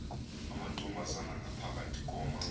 amantombazana ngapha koma